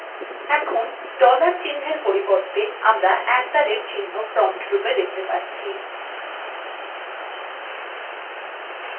এখন dollar চিহ্নর পরিবর্তে আমরা at the rate চিহ্ন prompt রূপে দেখতে পাচ্ছি